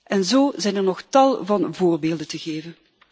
En zo zijn er nog tal van voorbeelden te geven.